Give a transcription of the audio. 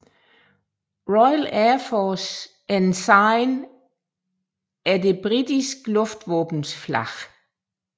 Royal Air Force Ensign er det britiske luftvåbens flag